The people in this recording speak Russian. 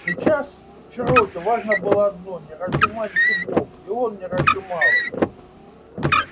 сейчас чероки важно было одно не разжимать зубов и он не разжимал их